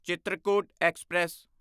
Chitrakoot express